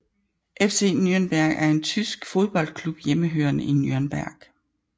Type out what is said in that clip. FC Nürnberg er en tysk fodboldklub hjemmehørende i Nürnberg